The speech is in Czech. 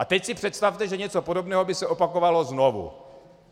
A teď si představte, že něco podobného by se opakovalo znovu.